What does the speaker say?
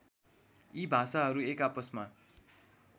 यी भाषाहरू एकाआपसमा